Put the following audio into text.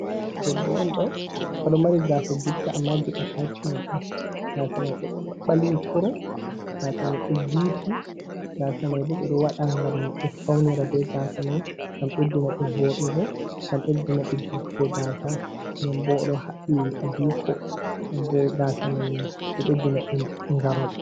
Debbo on ɗo ,o ɗo mari gaasa juutka ammaa jey ataacmen ,gaasa may ɗo ɓalwi kurum ,gaasa may ɗo juuti, gaasa may bo ɓe ɗo waɗa ngam ɓe fawnira be gaasa may ,ngam ɓeddina ɓe voɗugo, ngam ɓeddina ɓe juutugo gaasa nden bo,o ɗo haɓɓi adiiko, nden bo gaasa may, ɗo ɓeddina ɓe ngarol.